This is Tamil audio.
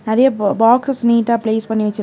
நெறைய ப பாக்கஸ் நீட்டா ப்ளேஸ் பண்ணி வச்சிருக்--